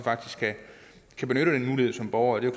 kan benytte den mulighed som borger det